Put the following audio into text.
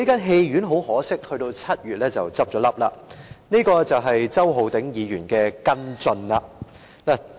很可惜，戲院在7月便已結業，這便是周浩鼎議員的跟進。